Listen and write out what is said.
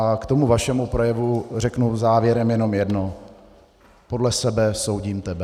A k tomu vašemu projevu řeknu závěrem jednom jedno: Podle sebe soudím tebe.